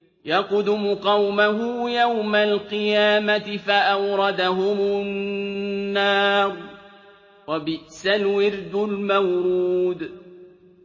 يَقْدُمُ قَوْمَهُ يَوْمَ الْقِيَامَةِ فَأَوْرَدَهُمُ النَّارَ ۖ وَبِئْسَ الْوِرْدُ الْمَوْرُودُ